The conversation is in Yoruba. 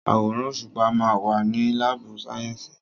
Àwòrán òṣùpá ma wà ní lábù sàyẹ́sì.